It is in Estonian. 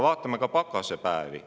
Vaatame ka pakasepäevi.